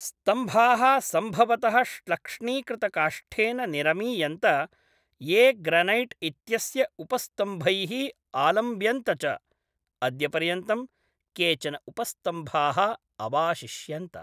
स्तम्भाः सम्भवतः श्लक्ष्णीकृतकाष्ठेन निरमीयन्त, ये ग्रनैट् इत्यस्य उपस्तम्भैः आलम्ब्यन्त च, अद्यपर्यन्तं केचन उपस्तम्भाः अवाशिष्यन्त।